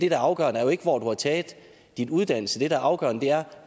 er afgørende er jo ikke hvor du har taget din uddannelse det der er afgørende er